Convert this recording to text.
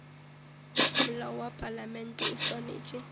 molao wa palamente o swanetše